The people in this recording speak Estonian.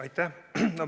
Aitäh!